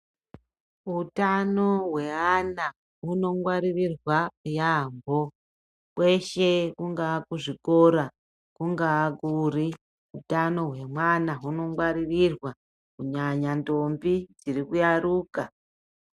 Utano hweana hunongwaririrwa yaambo kweshe kungaa kuzvikora kungaa kuri hutano hwemwana hunongwaririrwa kunyanya ndombi dzirikuyaruka.